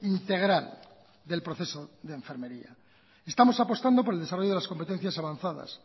integral del proceso de enfermería estamos apostando por el desarrollo de las competencias avanzadas